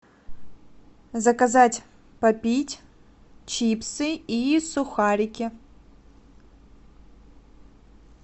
заказать попить чипсы и сухарики